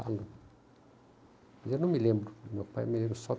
Eu eu não me lembro, meu pai